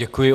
Děkuji.